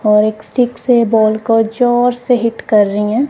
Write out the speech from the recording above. और एक स्टिक से बॉल को जोर से हिट कर रही हैं।